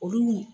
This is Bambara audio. Olu